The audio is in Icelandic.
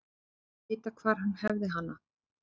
Vita hvar hann hefði hana.